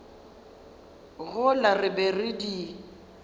gola re be re di